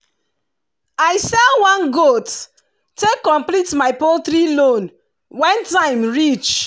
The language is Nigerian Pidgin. i sell one goat take complete my poultry loan when time reach